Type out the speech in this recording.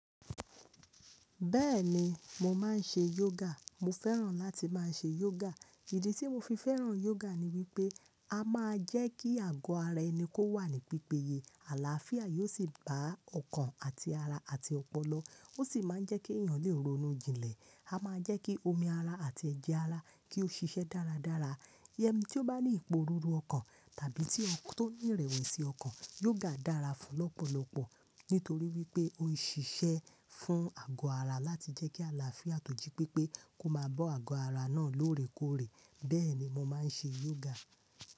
Bẹ́ẹ̀ni, mo máa ń ṣe yoga. Mo fẹ́ràn láti máa ṣe yoga. Ìdí tí mo fi fẹ́ràn yoga ni wípé, a máa jẹ́ kí àgọ́ ara ẹni kó wà ní pípéye. Àlàáfíà yóò sì bá ọkàn àti ara àti ọpọlọ. Ó sì máa ń jẹ́ kí èèyàn lè ronú jinlẹ̀. A máa jẹ́ kí omi ara àti ẹ̀jẹ̀ ara kí ó ṣiṣẹ́ dáradára. Yẹmí tí ó bá ní ìpòrúru ọkàn tàbí tí ó ń rẹ̀wẹ̀sì ọkàn, yoga dára fún lọ́pọ̀lọpọ̀ nítorí wípé ó ń ṣiṣẹ́ fún àgọ́ ara láti jẹ́ kí àlàáfíà tó jí pépé kó máa bọ́ àgọ́ ara náà lóòrèkóòrè. Bẹ́ẹ̀ni, mo máa ń ṣe yoga.